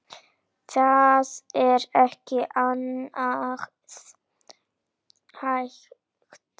Það er ekki annað hægt.